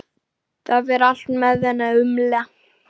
Það fer henni vel að umla.